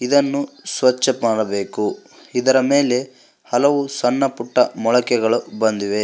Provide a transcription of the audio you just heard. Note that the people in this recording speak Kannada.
ಇದನ್ನು ಸ್ವಚ್ಛ ಮಾಡಬೇಕು ಇದರ ಮೇಲೆ ಹಲವು ಸಣ್ಣಪುಟ್ಟ ಮೊಳಕೆಗಳು ಬಂದಿವೆ.